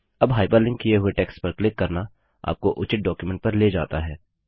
अब हाइपरलिंक किए हुए टेक्स्ट पर क्लिक करना आपको उचित डॉक्युमेंट पर ले जाता है